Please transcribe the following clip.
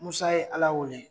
Musa ye Ala wele.